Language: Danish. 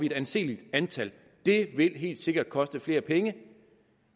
et anseeligt antal det vil helt sikkert koste flere penge